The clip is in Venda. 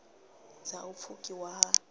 dz a u pfukiwa ha